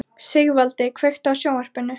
Sigvaldi, kveiktu á sjónvarpinu.